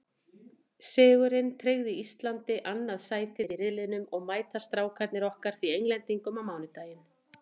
Sigurinn tryggði Íslandi annað sætið í riðlinum og mæta Strákarnir okkar því Englendingum á mánudaginn.